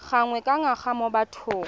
gangwe ka ngwaga mo bathong